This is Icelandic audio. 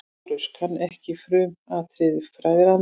LÁRUS: Kann ekki frumatriði fræðanna.